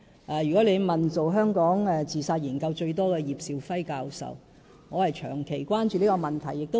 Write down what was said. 假如你問進行香港自殺研究次數最多的葉兆輝教授，便會知道我長期關注這個問題。